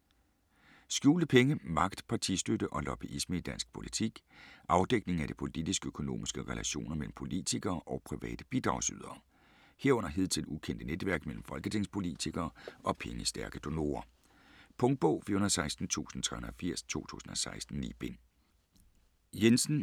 Skjulte penge: magt, partistøtte og lobbyisme i dansk politik Afdækning af de politisk-økonomiske relationer mellem politikere og private bidragsydere, herunder hidtil ukendte netværk mellem folketingspolitikere og pengestærke donorer. Punktbog 416380 2016. 9 bind.